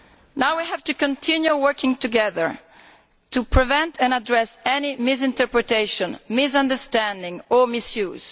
Now we have to continue working together to prevent and address any misinterpretation, misunderstanding or misuse.